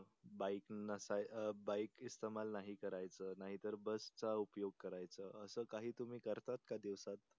Bike नसाय अं bike इसतेमाल नाही करायच नाहीतर बस चा उपयोग करायचं. असं काही तुम्ही करतात का दिवसांत?